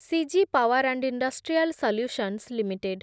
CG power and industrial solutions limited